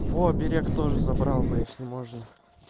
о оберег тоже забрал бы если можно